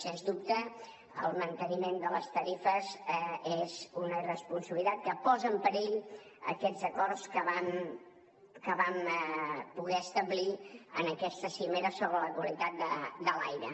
sens dubte el manteniment de les tarifes és una irresponsabilitat que posa en perill aquests acords que vam poder establir en aquesta cimera sobre la qualitat de l’aire